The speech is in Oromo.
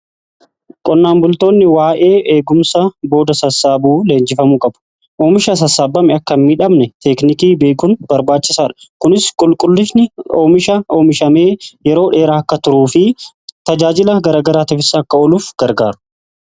Qonnaan bultoonni waa'ee eegumsa booda sassaabuu leenjifamuu qabu. Oomisha sassaabame akka miidhamne teeknikii beekuun barbaachisaadha. Kunis qulqullinni oomisha oomishamee yeroo dheeraa akka turuu fi tajaajila garagaraatiifis akka ooluuf gargaaru.